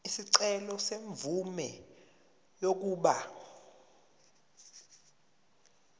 isicelo semvume yokuba